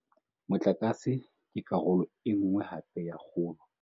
Motlakase ke karolo e nngwe hape ya kgolo.